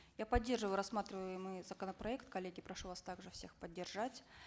я поддерживаю рассматриваемый законопроект коллеги прошу вас также всех поддержать